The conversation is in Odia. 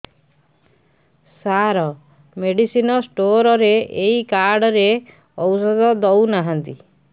ସାର ମେଡିସିନ ସ୍ଟୋର ରେ ଏଇ କାର୍ଡ ରେ ଔଷଧ ଦଉନାହାନ୍ତି